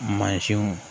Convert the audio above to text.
Mansinw